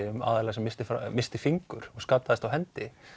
um aðila sem missti missti fingur skaddaðist á hendi